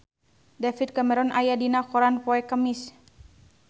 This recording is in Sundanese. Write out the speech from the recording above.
David Cameron aya dina koran poe Kemis